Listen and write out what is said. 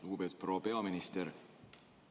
Lugupeetud proua peaminister!